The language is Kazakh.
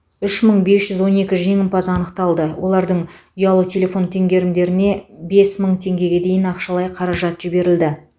үш мың бес жүз он екі жеңімпаз анықталды олардың ұялы телефон теңгерімдеріне бес мың теңгеге дейін ақшалай қаражат жіберілді